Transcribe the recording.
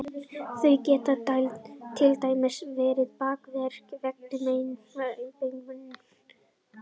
Þau geta til dæmis verið bakverkir vegna meinvarpa í beinagrind, aðallega í hryggsúlu.